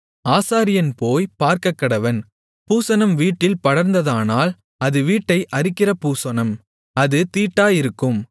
ஆசாரியன் போய்ப் பார்க்கக்கடவன் பூசணம் வீட்டில் படர்ந்ததானால் அது வீட்டை அரிக்கிற பூசணம் அது தீட்டாயிருக்கும்